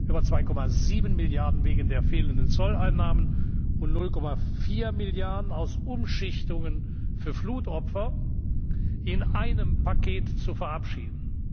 Milliarden, über 2,7 Milliarden wegen der fehlenden Zolleinnahmen und 0,4 Milliarden aus Umschichtungen für Flutopfer in einem Paket zu verabschieden.